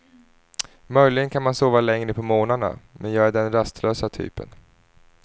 Möjligen kan man sova längre på morgnarna, men jag är den rastlösa typen.